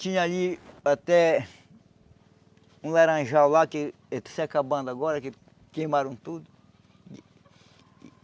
Tinha ali até... Um laranjal lá que... Ele está se acabando agora, que queimaram tudo.